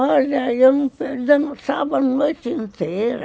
Olha, eu dançava a noite inteira.